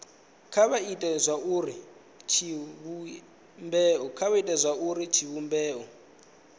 kha vha ite zwauri tshivhumbeo